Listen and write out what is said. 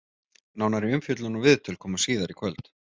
Nánari umfjöllun og viðtöl koma síðar í kvöld.